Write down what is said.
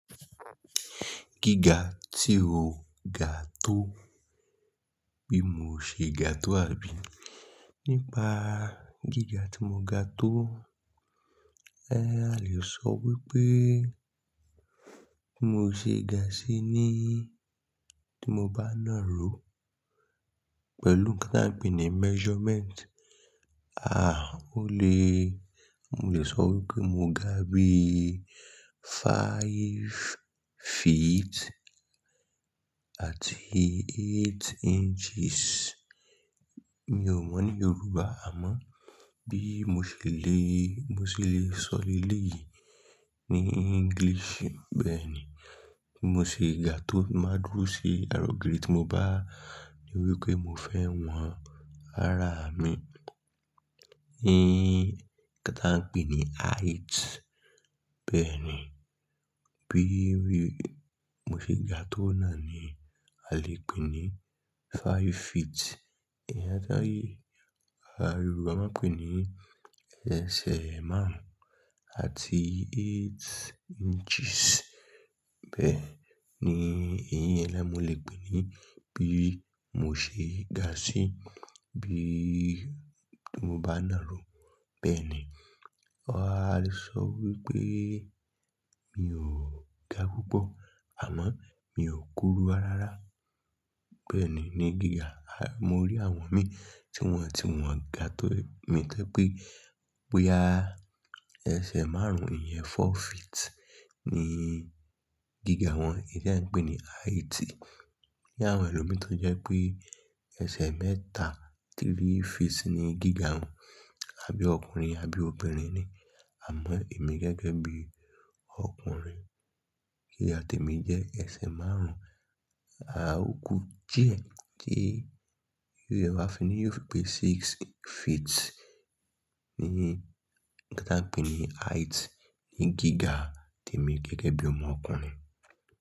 Gíga tí o ga tó, bí mo ṣe ga tó àbí nípa gíga tí mo ga tó. A lè sọ wípé mo ṣe ga síi ni tí mo bá na ró pẹ̀lú kí n pè ní measurement. Ah, ó lè, mo lè sọ wípé mo ga bí five feet àti eight inches. Mi ò mọ̀ ní Yorùbá, àmọ́ bí mo ṣe le, mo ṣe le sọ lé léyìí ní English bẹ́ẹ̀ ni. Mo ṣe ga tí mo bá dúró sí ara ogiri tí mo bá níwípé mo fẹ́ wọn, ara mi. Ni kan tí ahun pè ní height. Bẹ́ẹ̀ ni. Bí mo ṣe ga tó náà ni a lè pè ní five feet. Ìyẹn táyì Yorùbá máa ń pè ní ẹsẹ̀ márùn-ún àti eight inches. Bẹ́ẹ̀ ni èyí ni ẹ ní mo lè pè ní bí mo ṣe ga síí bí mo bá na ró. Bẹ́ẹ̀ ni. Ah a lè sọ wípé mi ò ga púpọ̀ àmọ́ mi ò kúrú rárá. Bẹ́ẹ̀ ni ní gíga. Mo rí àwọn mi tí wọ́n, tí wọ́n ga tó mi tó pé boyaa ẹsẹ̀ márùn-ún, ìyẹn four feet ni gíga wọn. Èyí tí a ń pè ní height. Ni àwọn ẹlòmíràn tó jẹ́ pé ẹsẹ̀ mẹ́ta, three feet ni gíga wọn, àbí ọkùnrin, àbí obìnrin ni. Àmọ́ èmi gẹ́gẹ́ bí ọkùnrin, gíga tèmi jẹ́ ẹsẹ̀ márùn-ún, a ò kú díẹ̀ tí yóò wá fi níyò pé six feet ni kí n pè ní height ní gíga mi gẹ́gẹ́ bí ọmọ ọkùnrin.